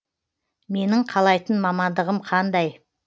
менің қалайтын мамандығым қандай